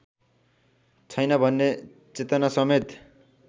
छैन भन्ने चेतनासमेत